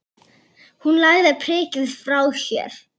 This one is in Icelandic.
Hverju er hann að heita?